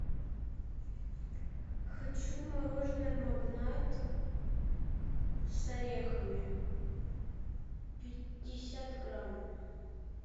хочу мороженое магнат с орехами пятьдесят грамм